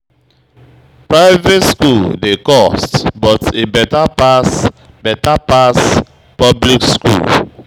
Private skool dey cost but e beta pass beta pass public skool.